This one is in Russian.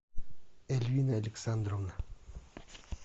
эльвина александровна